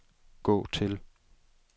gå til